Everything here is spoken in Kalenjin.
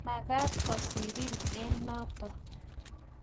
manget kosirin eng noto